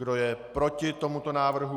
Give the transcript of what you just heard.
Kdo je proti tomuto návrhu?